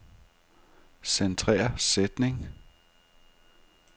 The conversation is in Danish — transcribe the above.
Centrer sætning.